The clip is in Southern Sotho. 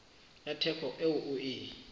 ya theko eo o e